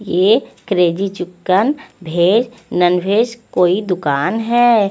ये crazy chicken veg non veg कोई दूकान है।